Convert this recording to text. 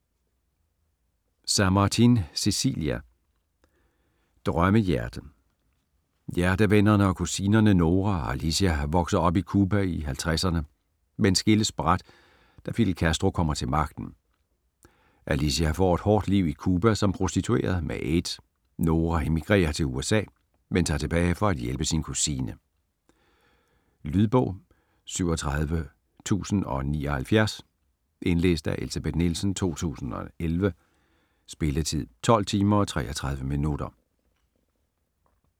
Samartin, Cecilia: Drømmehjerte Hjertevennerne og kusinerne Nora og Alicia vokser op i Cuba i 50'erne, men skilles brat, da Fidel Castro kommer til magten. Alicia får et hårdt liv i Cuba som prostitueret med aids; Nora emigrerer til USA, men tager tilbage for at hjælpe sin kusine. Lydbog 37079 Indlæst af Elsebeth Nielsen, 2011. Spilletid: 12 timer, 33 minutter.